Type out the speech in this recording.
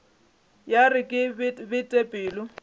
ya re ke bete pelo